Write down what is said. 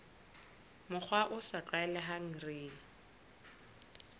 mokgwa o sa tlwaelehang re